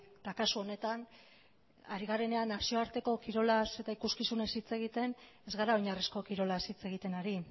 eta kasu honetan ari garenean nazioarteko kirolaz eta ikuskizunez hitz egiten ez gara oinarrizko kirolaz hitz egiten ari